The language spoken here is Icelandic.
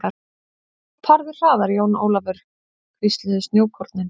Farðu hraðar Jón Ólafur, hvísluðu snjókornin.